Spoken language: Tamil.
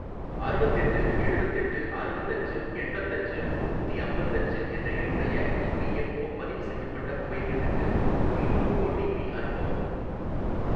அறுவத்தெட்டு எழுவத்தெட்டு அறுவத்தஞ்சு எண்பத்தஞ்சு நூத்தி அம்பத்தஞ்சு என்ற என்னுடைய இபிஎஃப்ஓ பதிவு செய்யப்பட்ட மொபைல் எண்ணுக்கு மீண்டும் ஓடிபி அனுப்பவும்